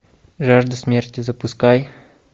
жажда смерти запускай